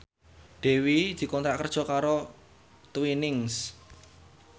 Dewi dikontrak kerja karo Twinings